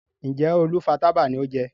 Njé olú fà tábà ní o jé?